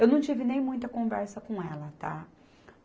Eu não tive nem muita conversa com ela, tá?